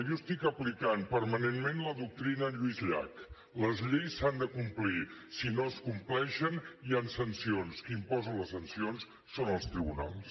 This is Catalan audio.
jo estic aplicant permanentment la doctrina lluís llach les lleis s’han de complir si no es compleixen hi han sancions qui imposa les sancions són els tribunals